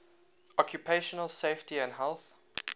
occupational safety and health